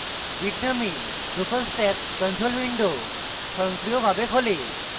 bitnami drupal stack control window স্বয়ংক্রিয়ভাবে খোলে